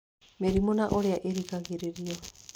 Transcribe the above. Mĩrimũ na Ũrĩa Ĩngĩgirĩrĩrio